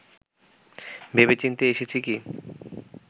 ভেবেচিন্তে এসেছি কি